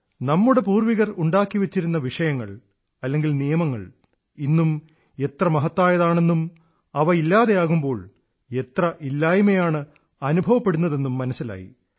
നമ്മുടെ പൂർവ്വികർ സൃഷ്ടിച്ചുവെച്ചിരുന്ന വിഷയങ്ങൾനിയമങ്ങൾ ഇന്നും എത്ര മഹത്തായവയാണെന്നും അവ ഇല്ലാതെയാകുമ്പോൾ എത്ര ഇല്ലായ്മയാണ് അനുഭവപ്പെടുന്നതെന്നും മനസ്സിലായി